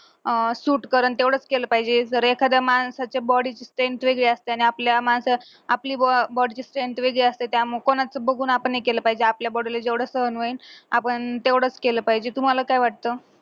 अह suit करल तेवढेच केलं पाहिजे जर एखाद्या माणसाच्या body ची strength वेगळी असते आणि आपल्या आपली body ची strength वेगळी असते त्यामुळे कोणाचं बघून हे केला पाहिजे आपल्या body ला जेवढं सहन होईन तेवढंच केलं पाहिजे तुम्हाला काय वाटतं